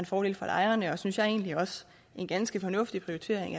fordel for lejerne og synes jeg egentlig også en ganske fornuftig prioritering